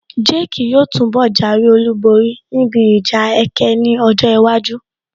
Jake yóò túnbọ̀ jáwé olúborí níbi ìjà ẹkẹ ní ọjọ́ iwájú